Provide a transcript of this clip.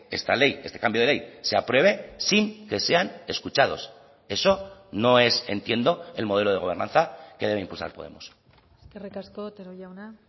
esta ley este cambio de ley se apruebe sin que sean escuchados eso no es entiendo el modelo de gobernanza que debe impulsar podemos eskerrik asko otero jauna